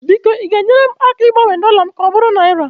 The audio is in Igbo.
biko ị ga-enyere m aka ịgbanwe dọla m ka ọ bụrụ naira?